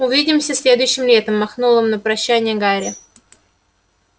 увидимся следующим летом махнул им на прощанье гарри